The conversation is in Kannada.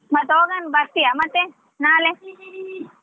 ಮತ್ತ ಹೊಗೋಣ್ ಬರ್ತೀಯಾ ಮತ್ತೆ ನಾಳೆ.